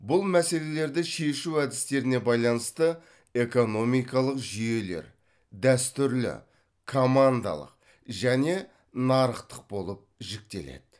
бұл мәселелерді шешу әдістеріне байланысты экономикалық жүйелер дәстүрлі командалық және нарықтық болып жіктеледі